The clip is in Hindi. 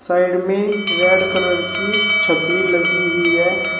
साइड में रेड कलर की छत्री लगी हुई है।